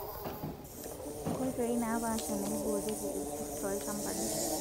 Nkoitoi naapasha naaiborieki irkurt toolchambai;